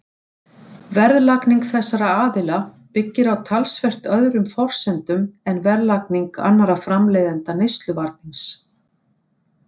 Verðlagning þessara aðila byggir á talsvert öðrum forsendum en verðlagning annarra framleiðenda neysluvarnings.